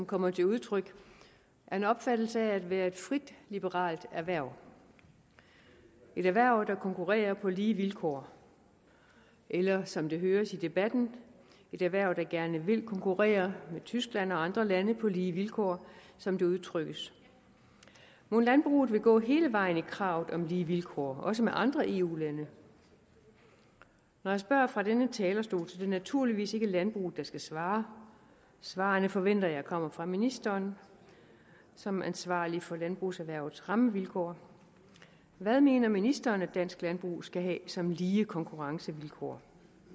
kommer til udtryk er en opfattelse af at være et frit liberalt erhverv et erhverv der konkurrerer på lige vilkår eller som det høres i debatten et erhverv der gerne vil konkurrere med tyskland og andre lande på lige vilkår som det udtrykkes mon landbruget vil gå hele vejen i kravet om lige vilkår også med andre eu lande når jeg spørger fra denne talerstol at det naturligvis ikke landbruget skal svare svarene forventer jeg kommer fra ministeren som ansvarlig for landbrugserhvervets rammevilkår hvad mener ministeren at dansk landbrug skal have som lige konkurrencevilkår